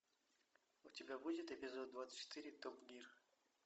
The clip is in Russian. у тебя будет эпизод двадцать четыре топ гир